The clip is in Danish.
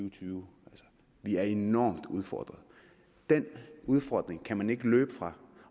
og tyve vi er enormt udfordret den udfordring kan man ikke løbe fra